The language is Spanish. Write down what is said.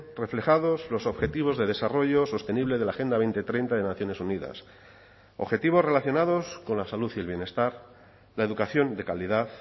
reflejados los objetivos de desarrollo sostenible de la agenda dos mil treinta de naciones unidas objetivos relacionados con la salud y el bienestar la educación de calidad